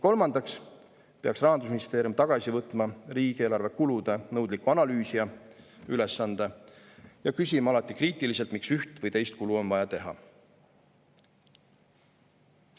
Kolmandaks peaks Rahandusministeerium tagasi võtma riigieelarve kulude nõudliku analüüsija ülesande ja küsima alati kriitiliselt, miks üht või teist kulu on vaja teha.